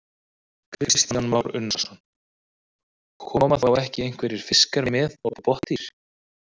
Kristján Már Unnarsson: Koma þá ekki einhverjir fiskar með og botndýr?